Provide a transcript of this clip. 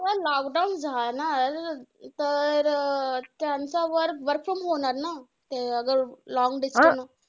Lockdown जाणार, तर अं त्यांचा work work from home होणार ना? ते आज long distance